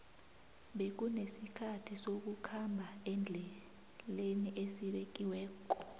bekunesikhathi sokukhamba endleni esibekiwekko